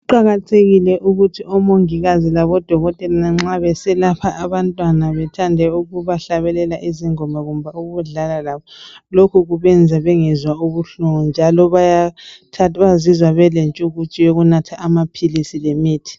Kuqakathekile ukuthi omongikazi labodokotela nxa beselapha abantwana bethande ukubahlabelela izingoma kumbe ukudlala labo. Lokhu kubenza bengezwa ubuhlungu njalo bayazizwa belentshukutshu yokunatha amaphilisi lemithi.